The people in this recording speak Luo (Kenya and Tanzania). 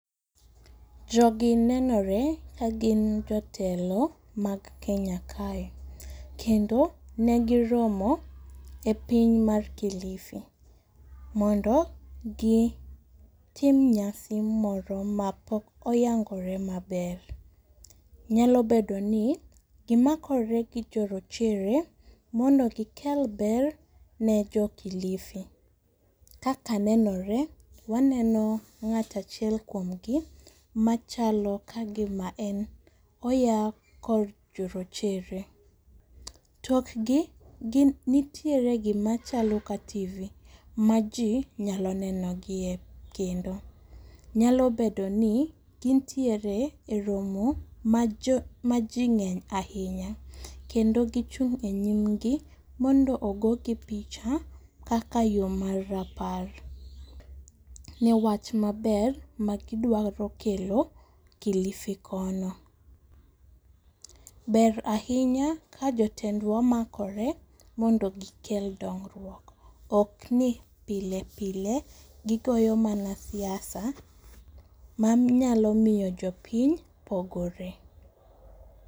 Jogi nenore kagin jotelo mag Kenya kae, kendo negiromo e piny mar Kilifi, mondo gitim nyasi moro mapok oyangore maber. Nyalobedoni gimakore gi jorochere mondo gikel ber ne jo Kilifi, kaka nenore waneno ng'at achiel kuomgi machalo kagima en oya kor jorochere. Tokgi nitiere gimachalo ka tv ma jii nyalo neno gie kendo, nyalobedoni gintiere e romo ma jii ng'eny ahinya, kendo gichung' e nyimgi mondo ogogi picha kaka yo mar rapar, newach maber magidwaro kelo Kilifi kono. Ber ahinya kajotendwa makore mondo gikel dongruok okni pile pile gikoyo mana siasa manyalo miyo jopiny pogore.